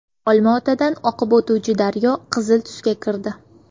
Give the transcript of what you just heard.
Olmaotadan oqib o‘tuvchi daryo qizil tusga kirdi .